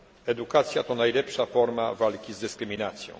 Edukacja to najlepsza forma walki z dyskryminacją.